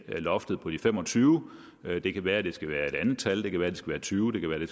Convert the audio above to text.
loftet på de femogtyvende det kan være det skal være et andet tal det kan være det skal være tyvende det kan være det